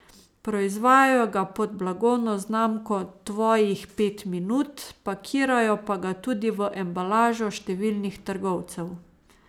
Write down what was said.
Proizvajajo ga pod blagovno znamko Tvojih pet minut, pakirajo pa ga tudi v embalažo številnih trgovcev.